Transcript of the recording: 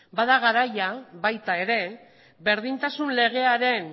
bada garaia baita ere berdintasun legearen